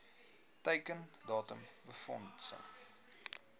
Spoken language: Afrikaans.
teiken datum befondsing